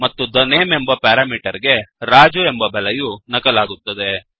ಮತ್ತು the name ಎಂಬ parameter ಗೆ ರಾಜು ಎಂಬ ಬೆಲೆಯು ನಕಲಾಗುತ್ತದೆ